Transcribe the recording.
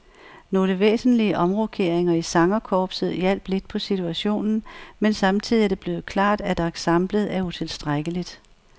Nogle væsentlige omrokeringer i sangerkorpset hjalp lidt på situationen, men samtidig er det blevet klart, at ensemblet er utilstrækkeligt.